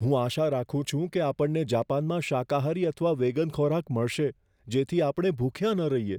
હું આશા રાખું છું કે આપણને જાપાનમાં શાકાહારી અથવા વેગન ખોરાક મળશે, જેથી આપણે ભૂખ્યા ન રહીએ.